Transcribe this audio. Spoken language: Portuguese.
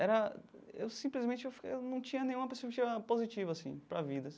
Era eu simplesmente eu fi eu não tinha nenhuma perspectiva positiva assim para a vida.